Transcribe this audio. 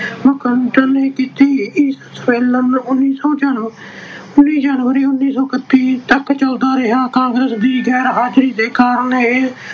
MacDonald ਨੇ ਕੀਤੀ। ਇਹ ਸੰਮੇਲਨ ਵੀਹ ਜਨਵਰੀ, ਉਨੀ ਸੌ ਇਕਤੀ ਤੱਕ ਚਲਦਾ ਰਿਹਾ। ਕਾਂਗਰਸ ਦੀ ਗੈਰ-ਹਾਜਰੀ ਦੇ ਕਾਰਨ ਇਹ